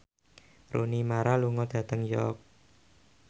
Rooney Mara lunga dhateng York